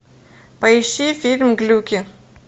поищи фильм глюки